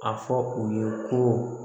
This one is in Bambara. A fɔ u ye ko